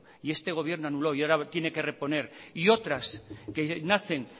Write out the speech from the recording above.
y este gobierno anuló y ahora tiene que reponer y otras que nacen